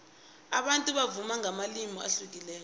abantu bavuma ngamalimi ahlukileko